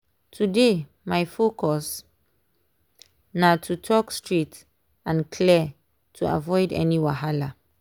today my focus na to talk straight and clear to avoid any wahala.